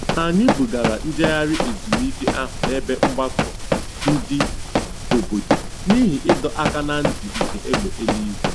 Anyị bugara njegharị ezumike ahụ n'ebe mgbakọ ndị obodo n'ihi ịdọ aka na ntị nke egbe eluigwe.